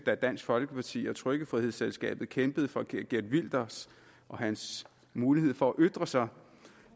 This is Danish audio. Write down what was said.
dansk folkeparti og trykkefrihedsselskabet kæmpede for nemlig geert wilders og hans mulighed for at ytre sig